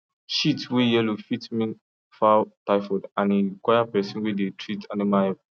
shit way yellow fit mean fowl typhoid and e require person way dey treat animal help